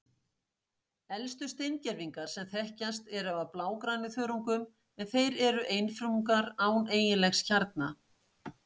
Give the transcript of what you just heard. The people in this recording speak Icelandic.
Elstu steingervingar sem þekkjast eru af blágrænþörungum, en þeir eru einfrumungar án eiginlegs kjarna.